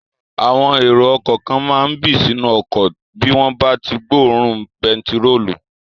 Àwọn èrò ọkọ̀ kan máa n bì sínú ọkọ̀ bí wọ́n bá tí gbọ́ òórùn pẹtirólù